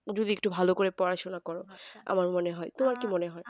যদি একটু ভালো করে পড়াশোনা করো তো আমার মনে হয় তোমার কী মনে হয়